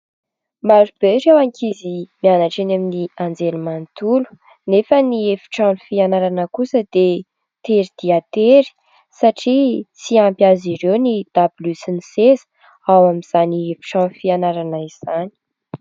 Maro be ireo ankizy mianatra eny amin'ny anjerimanontolo nefa ny efitrano fianarana kosa dia tery dia tery satria tsy ampy azy ireo ny dabilio sy ny seza ao amin'izany efitrano fianarana izany.